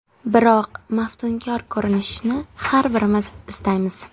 Biroq maftunkor ko‘rinishni har birimiz istaymiz.